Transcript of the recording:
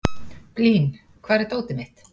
Blín, hvar er dótið mitt?